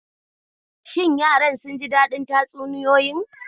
Shi yaran sun ji daɗin tatsuniyoyin?